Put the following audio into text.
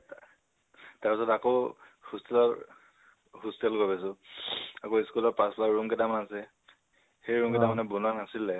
তাৰপিছত আকৌ hostel ৰ hostel লৈ গৈছো। আকৌ school ৰ room কেইটামান আছে, সেই room কেইটা মানে বনোৱা নাছিলে